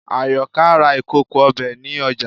Àyọkà ra ìkòkò ọbẹ̀ ní ọjà